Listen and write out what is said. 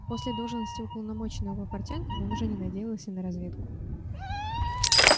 после должности уполномоченного портянкам он уже не надеялся на разведку